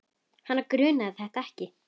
Hana grunaði þetta ekki.